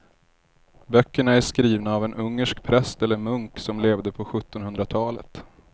Böckerna är skrivna av en ungersk präst eller munk som levde på sjuttonhundratalet.